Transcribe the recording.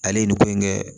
Ale ye nin ko in kɛ